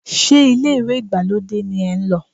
Ṣé ilé ìwẹ̀ ìgbàlódé ni ẹ ń lò?